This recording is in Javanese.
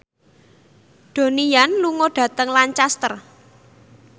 Donnie Yan lunga dhateng Lancaster